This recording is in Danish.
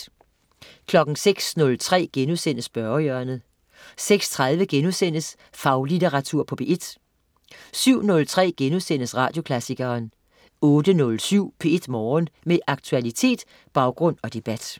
06.03 Spørgehjørnet* 06.30 Faglitteratur på P1* 07.03 Radioklassikeren* 08.07 P1 Morgen. Med aktualitet, baggrund og debat